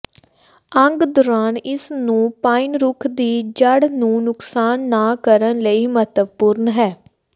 ਅੰਗ ਦੌਰਾਨ ਇਸ ਨੂੰ ਪਾਈਨ ਰੁੱਖ ਦੀ ਜੜ੍ਹ ਨੂੰ ਨੁਕਸਾਨ ਨਾ ਕਰਨ ਲਈ ਮਹੱਤਵਪੂਰਨ ਹੈ